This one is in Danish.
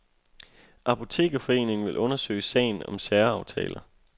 Apotekerforeningen vil undersøge sagen om særaftaler.